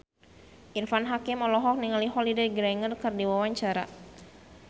Irfan Hakim olohok ningali Holliday Grainger keur diwawancara